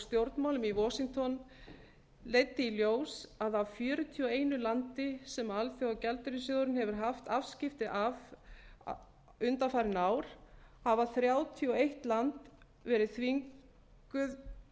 stjórnmálum i washington leiddi í ljós að af fjörutíu og einu landi sem alþjóðagjaldeyrissjóðurinn hefur haft afskipti af undanfarin ár hefur þrjátíu og eitt land verið þvingað